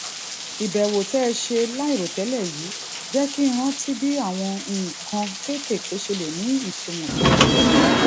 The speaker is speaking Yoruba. ìbẹwò tí ẹ ṣe láìròtélè yìí jé kí n rántí bí àwọn nǹkan kékèké ṣe lè ní ìtumọ tó jinlè